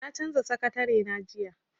Na canza sakatarena jiya.